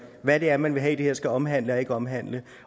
hvad det er man vil have at det her skal omhandle og ikke omhandle